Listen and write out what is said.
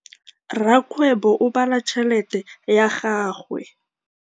Rakgwêbô o bala tšheletê ya gagwe.